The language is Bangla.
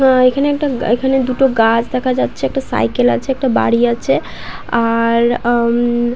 আ এখানে একটা এখানে দুটো গাছ দেখা যাচ্ছে। একটা সাইকেল আছে একটা বাড়ি আছে। আর উমম--